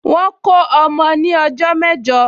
Wọ́n kó ọmọ ní ọjọ́ mẹ́jọ